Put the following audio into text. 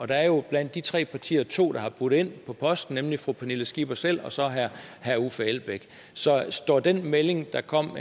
der er jo blandt de tre partier to der har budt ind på posten nemlig fru pernille skipper selv og så herre uffe elbæk så står den melding der kom